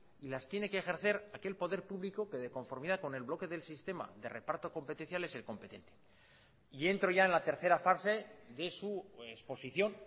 y las tiene que ejercer aquel poder público que de conformidad con el bloque del sistema de reparto competencial es el competente y entro ya en la tercera fase de su exposición